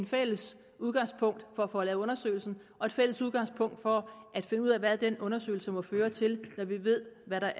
fælles udgangspunkt for at få lavet undersøgelsen og et fælles udgangspunkt for at finde ud af hvad den undersøgelse må føre til når vi ved hvad